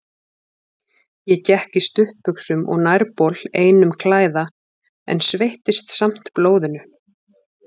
Ég gekk í stuttbuxum og nærbol einum klæða, en sveittist samt blóðinu.